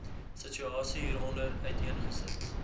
situasie hieronder uiteengesit